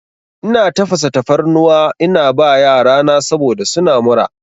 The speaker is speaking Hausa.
Ina tafasa tafarnuwa ina ba yarana saboda suna mura.